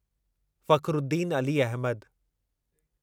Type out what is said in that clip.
Fakhruddin Ali Ahmad